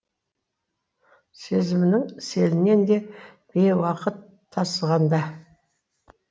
сезімнің селінен де бейуақыт тасығанда